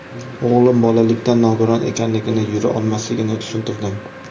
O‘g‘lim bolalikdan nogiron ekanligini, yura olmasligini tushuntirdim.